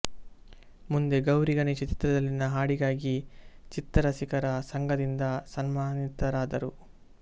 ಮುಂದೆ ಗೌರಿ ಗಣೇಶ ಚಿತ್ರದಲ್ಲಿನ ಹಾಡಿಗಾಗಿ ಚಿತ್ರರಸಿಕರ ಸಂಘದಿಂದ ಸನ್ಮಾನಿತರಾದರು